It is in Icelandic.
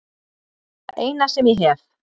Það eina sem ég hef.